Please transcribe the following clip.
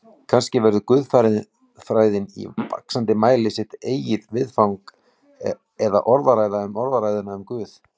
Kannski verður guðfræðin í vaxandi mæli sitt eigið viðfang eða orðræða um orðræðuna um Guð.